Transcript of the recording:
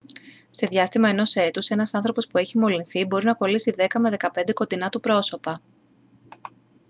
σε διάστημα ενός έτους ένας άνθρωπος που έχει μολυνθεί μπορεί να κολλήσει 10 με 15 κοντινά του πρόσωπα